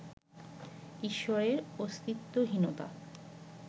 ঈশ্বরের অস্তিত্বহীনতা